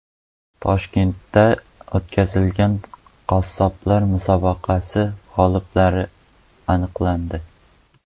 Toshkentda o‘tkazilgan qassoblar musobaqasi g‘oliblari aniqlandi.